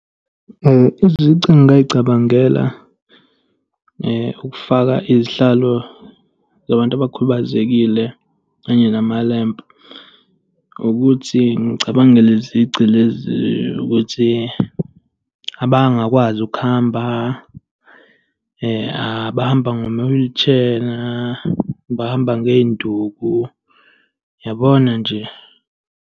Izici engingay'cabangela ukufaka izihlalo zabantu abakhubazekile kanye namalempu ukuthi ngicabange le zici ukuthi, abangakwazi ukuhamba, abahamba ngama-wheelchair, abahamba ngey'nduku. Uyabona nje.